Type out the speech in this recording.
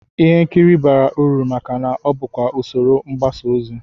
Ihe nkiri bara uru maka na ọ bụkwa usoro mgbasaozi